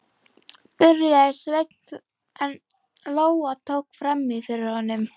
byrjaði Sveinn en Lóa tók fram í fyrir honum